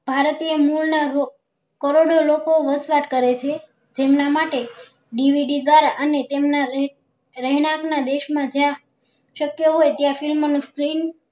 ભારતીય મૂળ ના લોક કરોડો લોકો વસવાટ કરે છે જેમના માટે DVD દ્વારા અને તેમના લેક રહેણાંક ના દેશ માં જ્યાં શક્ય હોય ત્યાં film નું